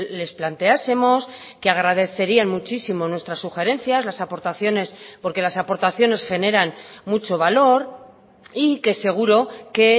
les planteásemos que agradecerían muchísimo nuestras sugerencias las aportaciones porque las aportaciones generan mucho valor y que seguro que